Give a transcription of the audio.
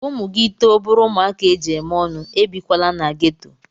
Ka ụmụ gị too bụrụ ụmụaka eji eme ọnụ, ebikwala na geto.